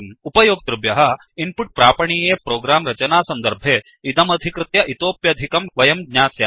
उपयोक्तृभ्यः input प्रापणीये program रचनासन्दर्भे इदमधिकृत्य इतोप्यधिकम् वयं ज्ञास्यामः